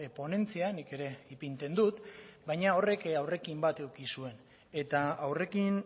ponentzia nik ere ipintzen dut baina horrek aurrekin bat eduki zuen eta aurrekin